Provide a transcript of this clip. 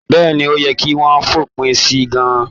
Bẹ́ẹ̀ni, ó yẹ kí wọ́n fòpin si gan-an.